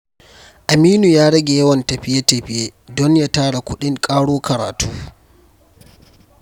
Aminu ya rage yawan tafiye-tafiye don ya tara kuɗin ƙaro karatu.